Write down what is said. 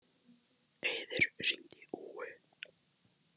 Auður, hringdu í Úu.